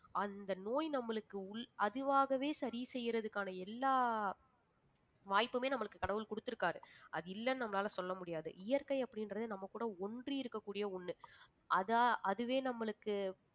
அந்த நோய் நம்மளுக்கு உள் அதுவாகவே சரி செய்யறதுக்கான எல்லா வாய்ப்புமே நம்மளுக்கு கடவுள் குடுத்திருக்காரு அது இல்லைன்னு நம்மளால சொல்ல முடியாது இயற்கை அப்படின்றது நம்ம கூட ஒன்றி இருக்கக் கூடிய ஒண்ணு அதை அதுவே நம்மளுக்கு